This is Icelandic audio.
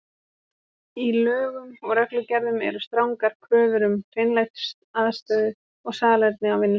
Í lögum og reglugerðum eru strangar kröfur um hreinlætisaðstöðu og salerni á vinnustöðum.